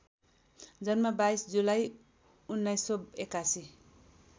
जन्म २२ जुलाई १९८१